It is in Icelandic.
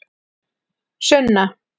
Sunna